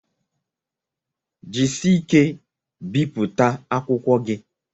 Jisie ike biputa akwụkwọ gi